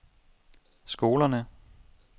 skolerne